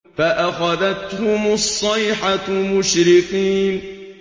فَأَخَذَتْهُمُ الصَّيْحَةُ مُشْرِقِينَ